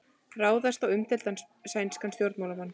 Ráðist á umdeildan sænskan stjórnmálamann